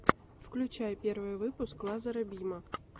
включай первый выпуск лазара бима